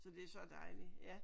Så det er så dejligt ja